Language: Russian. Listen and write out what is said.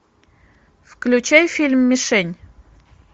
включай фильм мишень